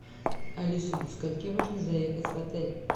алиса до скольки можно заехать в отель